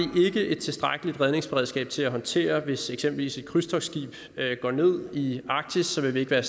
ikke et tilstrækkeligt redningsberedskab til at håndtere hvis eksempelvis et krydstogtskib går ned i arktis så vil vi ikke være